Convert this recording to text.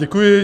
Děkuji.